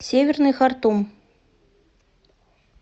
северный хартум